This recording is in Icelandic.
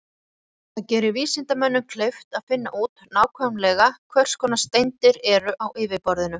Það gerir vísindamönnum kleift að finna út nákvæmlega hvers konar steindir eru á yfirborðinu.